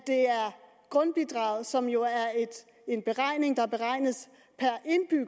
grundbidraget som jo er en beregning